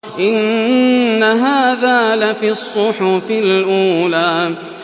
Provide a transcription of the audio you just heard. إِنَّ هَٰذَا لَفِي الصُّحُفِ الْأُولَىٰ